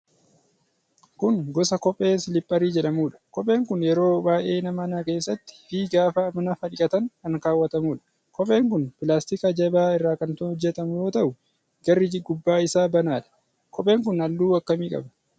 Kun gosa kophee siliipparii jedhamuudha. Kopheen kun yeroo baay'ee mana keessatti fi gaafa nafa dhiqatan kan kawwatamuudha. Kopheen kun pilaastika jabaa irraa kan hojjatamu yoo ta'u, garri gubbaa isaa banaadha. Kopheen kun halluu akkamii qaba?